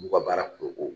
N'u ka baara ko